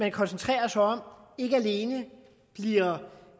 man koncentrerer sig om er